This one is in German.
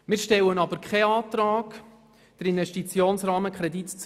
Wir stellen aber keinen Antrag auf Erhöhung des Investitionsrahmenkredits.